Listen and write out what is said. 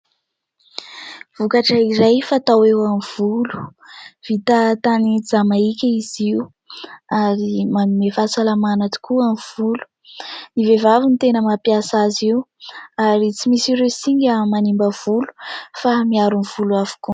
Vokatra iray fatao amin'ny volo, vita tany Jamaika izy io ary manome fahasalamana tokoa ho an'ny volo. Ny vehivavy no tena mampiasa azy io ary tsy misy ireo singa manimba ny volo fa miaro ny volo avokoa.